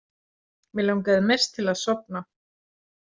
Mig langaði mest til að sofna.